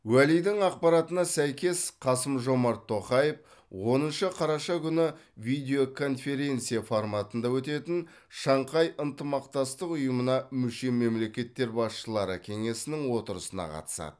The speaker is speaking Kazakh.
уәлидің ақпаратына сәйкес қасым жомарт тоқаев оныншы қараша күні видеоконференция форматында өтетін шанхай ынтымақтастық ұйымына мүше мемлекеттер басшылары кеңесінің отырысына қатысады